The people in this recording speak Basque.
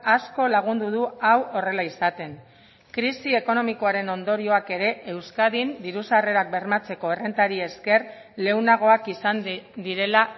asko lagundu du hau horrela izaten krisi ekonomikoaren ondorioak ere euskadin diru sarrerak bermatzeko errentari esker lehunagoak izan direla